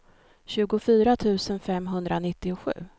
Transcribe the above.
tjugofyra tusen femhundranittiosju